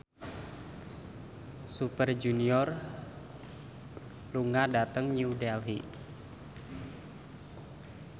Super Junior lunga dhateng New Delhi